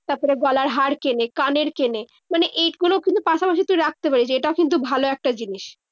তারপরে গলার হার কেনে। কানের কেনে। মানে এগুলো কিন্তু পাশাপাশি তুই রাখতে পারিস। এটাও কিন্তু ভালো একটা জিনিস।